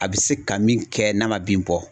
A bɛ se ka min kɛ n'a ma bin bɔ